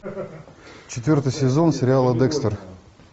четвертый сезон сериала декстер